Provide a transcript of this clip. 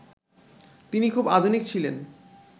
তিনি খুব আধুনিক ছিলেন